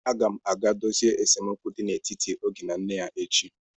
Agam aga dozie esemokwu dị n'etiti Oge na nne ya echi.